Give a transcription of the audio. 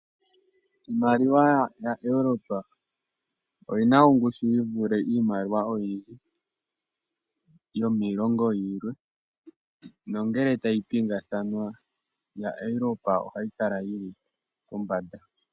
Iimaliwa yaEurope oyina ongushu yi vule iimaliwa yomiilongo yilwe nongele tayi pingathanwa yaEurope ohayi kala yili pombanda.